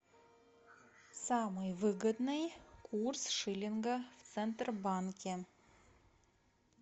самый выгодный курс шиллинга в центробанке